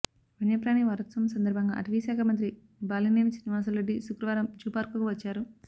వన్యప్రాణి వారోత్సవం సందర్భంగా అటవీశాఖ మంత్రి బాలినేని శ్రీనివాసులురెడ్డి శుక్రవారం జూపార్కుకు వచ్చారు